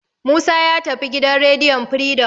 Musa ya tafi gidan rediyon Firidom.